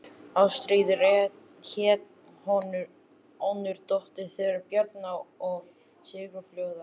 Ástríður hét önnur dóttir þeirra Bjarna og Sigurfljóðar.